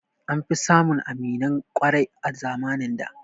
An fi samun aminan ƙwarai a zamanin da